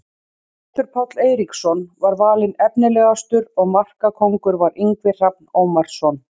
Loftur Páll Eiríksson var valinn efnilegastur og markakóngur var Ingvi Hrannar Ómarsson.